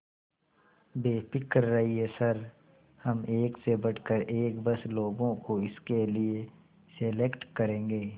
बेफिक्र रहिए सर हम एक से बढ़कर एक बस लोगों को इसके लिए सेलेक्ट करेंगे